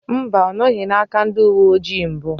Mba, ọ nọghị n'aka ndị uwe ojii mbụ